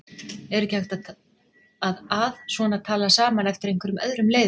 Er ekki hægt að að svona tala saman eftir einhverjum öðrum leiðum?